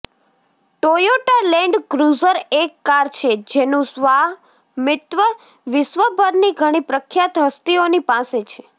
Toyota Land Cruiser એક car છે જેનું સ્વામિત્વ વિશ્વભરની ઘણી પ્રખ્યાત હસ્તીઓની પાસે છે